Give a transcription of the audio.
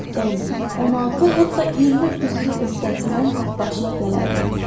On, 16, hətta 20 öküzün öhdəsindən tək başına gələrdi.